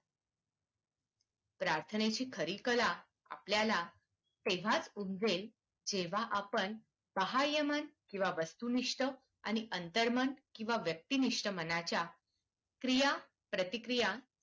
प्रार्थनेची खरी कला आपल्या ला तेव्हा उमजेल जेव्हा आपण बाहय मन किंवा वस्तुनिष्ठ आणि अंतर्मन किंवा व्यक्तिनिष्ठ मनाच्या क्रिया प्रतिक्रिया